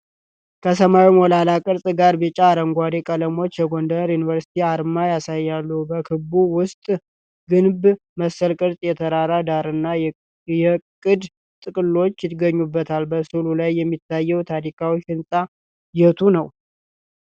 ከሰማያዊ ሞላላ ቅርጽ ጋር ቢጫና አረንጓዴ ቀለሞች የጎንደር ዩኒቨርሲቲን አርማ ያሳያሉ። በክበቡ ውስጥ ግንብ መሰል ቅርጽ፣ የተራራ ዳራና የዕቅድ ጥቅልሎች ይገኙበታል። በስዕሉ ላይ የሚታየው ታሪካዊ ሕንጻ የቱ ነው?